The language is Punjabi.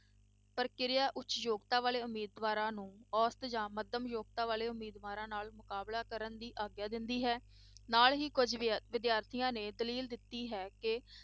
ਪ੍ਰਕਿਰਿਆ ਉੱਚ ਯੋਗਤਾ ਵਾਲੇ ਉਮੀਦਵਾਰਾਂ ਨੂੰ ਅੋਸਤ ਜਾਂ ਮੱਧਮ ਯੋਗਤਾ ਵਾਲੇ ਉਮੀਦਵਾਰਾਂ ਨਾਲ ਮੁਕਾਬਲਾ ਕਰਨ ਦੀ ਆਗਿਆ ਦਿੰਦੀ ਹੈ, ਨਾਲ ਹੀ ਕੁੱਝ ਵਿ~ ਵਿਦਿਆਰਥੀਆਂ ਦੀ ਦਲੀਲ ਦਿੱਤੀ ਹੈ ਕਿ